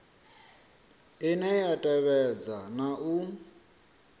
ine ya tevhedza na u